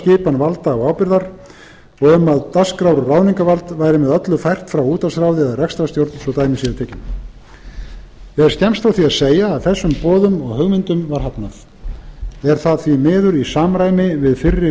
skipan valda og ábyrgðar og um að dagskrár og ráðningarvald væri með öllu fært frá útvarpsráði eða rekstrarstjórn svo dæmi séu tekin er skemmst frá því að segja að þessum boðum og hugmyndum var hafnað er það því miður í samræmi við fyrri